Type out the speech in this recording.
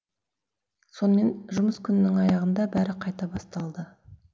сонымен жұмыс күнінің аяғында бәрі қайта басталды